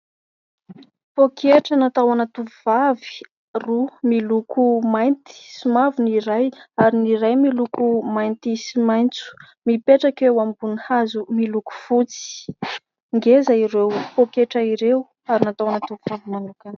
Poketra natao ana tovovavy roa miloko mainty sy mavo ny iray ary ny iray miloko mainty sy maitso mipetrako eo ambonin'ny hazo miloko fotsy ; ngeza ireo poketra ireo ary natao ana tovovavy manokana.